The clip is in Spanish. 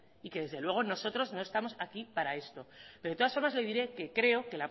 y que desde luego nosotros no estamos aquí para esto pero de todas formas le diré que creo que